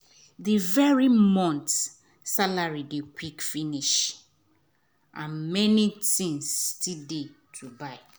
the every month salary dey quick finish and many things still dey to buy